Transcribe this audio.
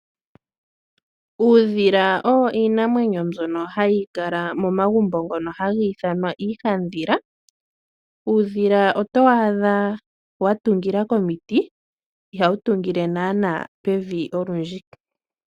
Uudhila owo iinamwenyo mbyono hayi kala komagumbo ngono haga ithanwa iihandhila. uudhila otowu adha wa tungila komiti ihawu tungile naana pevi olundji.